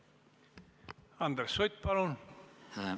Andres Sutt, palun!